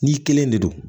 N'i kelen de don